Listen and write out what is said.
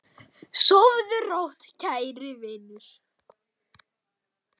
Sofðu rótt, kæri vinur.